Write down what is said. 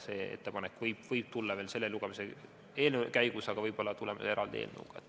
See ettepanek võib tulla veel selle eelnõu lugemise käigus, aga võib-olla tuleb eraldi eelnõu.